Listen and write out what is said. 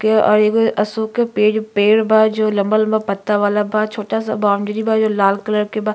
के अ एगो अशोक के पेड़ बा जो लम्बा-लम्बा पत्ता वाला बा। छोटा सा बाउंड्री बा जो लाल कलर के बा।